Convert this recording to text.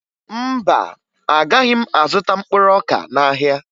Mba, agaghị m azụta mkpụrụ ọka n'ahịa